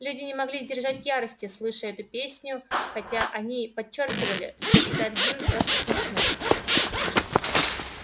люди не могли сдержать ярости слыша эту песню хотя они подчёркивали что считают гимн просто смешным